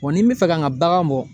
Wa ni n bi fɛ ka n ka bagan bɔ